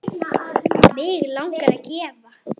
Mig langar að gefa.